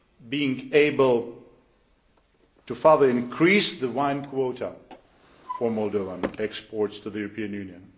of being able to further increase the wine quota for Moldovan exports to the European Union.